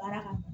Baara kan